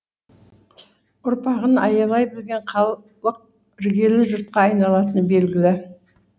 ұрпағын аялай білген халық іргелі жұртқа айналатыны белгілі